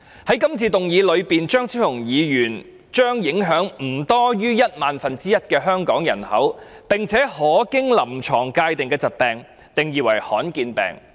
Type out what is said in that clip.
在今次的議案中，張超雄議員將影響不多於一萬分之一的香港人口，並且可經臨床界定的疾病，定義為罕見疾病。